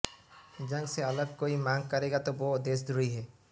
जंग से अलग कोई मांग करेगा तो वो देशद्रोही है